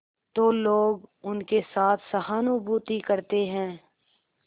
तो लोग उनके साथ सहानुभूति करते हैं